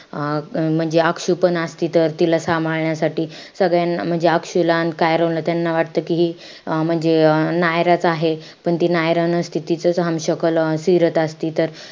अं म्हणजे अक्षु पण असती तर तिला सांभाळण्यासाठी. सगळ्यांना म्हणजे अक्षुला अन कायरोला त्यांना वाटतं कि अं म्हणजे अं नायरांचं आहे. पण ती नायरा नसते. तिचचं सिरत असते.